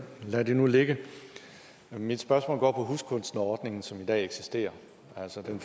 lad det nu ligge mit spørgsmål går på huskunsterordningen som i dag eksisterer og som